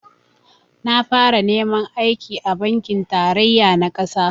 Na fara neman aiki a bankin tarayya na ƙasa